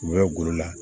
U bɛ golo la